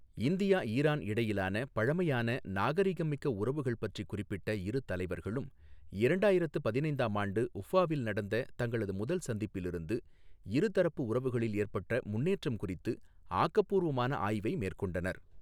India Iran இடையிலான பழமையான, நாகரீகம் மிக்க உறவுகள் பற்றிக் குறிப்பிட்ட இரு தலைவர்களும், இரண்டாயிரத்து பதினைந்தாம் ஆண்டு உஃபாவில் நடந்த தங்களது முதல் சந்திப்பில் இருந்து, இருதரப்பு உறவுகளில் ஏற்பட்ட முன்னேற்றம் குறித்து ஆக்கப்பூர்வமான ஆய்வை மேற்கொண்டனர்.